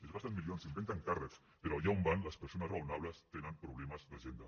es gasten milions s’inventen càrrecs però allà on van les persones raonables tenen problemes d’agenda